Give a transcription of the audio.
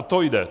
O to jde.